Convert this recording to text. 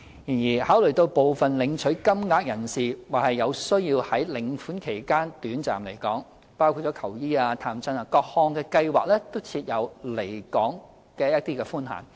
然而，考慮到部分領取金額的人士或有需要在領款期間短暫離港，各項計劃都設有離港寬限。